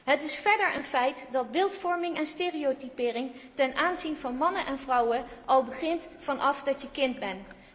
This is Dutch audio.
Het is verder een feit dat beeldvorming en stereotypering ten aanzien van mannen en vrouwen al begint vanaf de kindertijd.